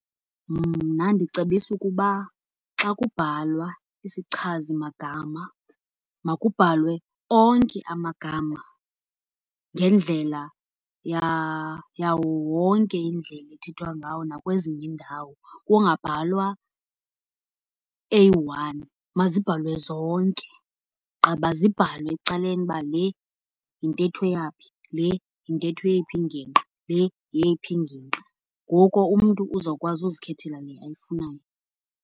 Mna ndicebisa ukuba xa kubhalwa isichazimagama makubhalwe onke amagama ngendlela yawo wonke indlela ethethwa ngawo nakwezinye iindawo, kungabhalwa eyi-one. Mazibhalwe zonke ogqiba zibhalwe ecaleni uba le yintetho yaphi, le yintetho yeyiphi ingingqi, le yeyiphi ingingqi. Ngoko umntu uzawukwazi uzikhethela le ayifunayo.